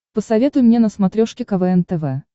посоветуй мне на смотрешке квн тв